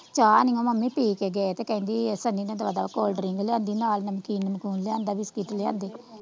ਚਾਹ ਨੀ ਓਹ ਮੰਮੀ ਪੀ ਕੇ ਗਏ ਤੇ ਕਹਿੰਦੀ ਸਨੀ ਨੇ ਦਵਾਦਬ ਕੋਲਡ ਡ੍ਰਿੰਕ ਲਿਆਂਦੀ ਨਾਲ ਨਿਮਕੀਨ ਨਿਮਕੂਨ ਲਿਆਂਦਾ ਬਿਸਕੀਟ ਲਿਆਂਦੇ।